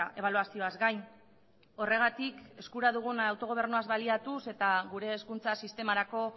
ebaluazioaz gain horregatik eskura dugun autogobernuaz baliatuz eta gure hezkuntza sistemarako